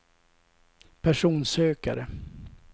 personsökare